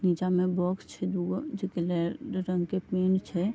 नीचा मे बॉक्स छै दुगो जे की रेड रंग के पिन छै।